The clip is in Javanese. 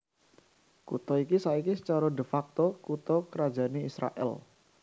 Kutha iki saiki sacara de facto kutha krajané Israèl